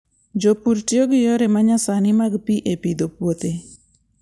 Jopur tiyo gi yore ma nyasani mag pi e pidho puothe.